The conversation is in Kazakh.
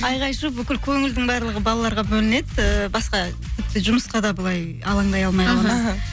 айқай шу бүкіл көңілдің барлығы балаларға бөлінеді ііі басқа тіпті жұмысқа да былай алаңдай